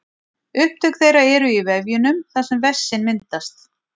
Upptök þeirra eru í vefjunum þar sem vessinn myndast.